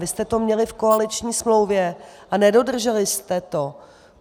Vy jste to měli v koaliční smlouvě a nedodrželi jste to.